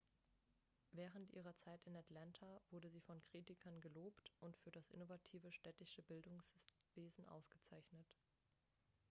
während ihrer zeit in atlanta wurde sie von kritikern gelobt und für das innovative städtische bildungswesen ausgezeichnet.x